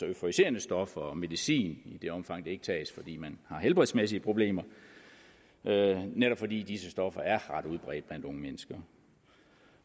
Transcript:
euforiserende stoffer og medicin i det omfang det ikke tages fordi man har helbredsmæssige problemer netop fordi disse stoffer er ret udbredt blandt unge mennesker